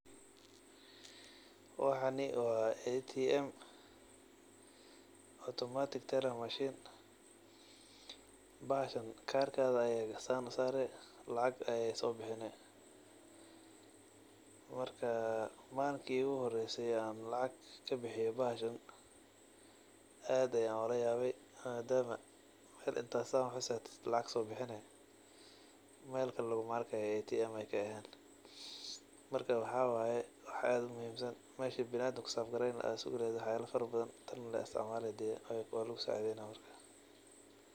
Waxani wa ATM automatic teller machine. Bahalkan karkaga aya sidan usare lacag ayey sobixini marka malinki iguhoreyse oo lacag kabixiyo bahashan aad ayan ulayawe madama bir inta saar usarto lacag sobixini meel kale luguma arko ATM an kaahen marka waxa waye wax aad uwanagsan meshii biniadanka kusaf gareyni laha ayey iyada kuygale.